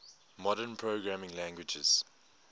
modern programming languages